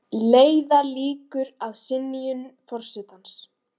Leiða líkur að synjun forsetans